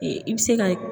I bɛ se ka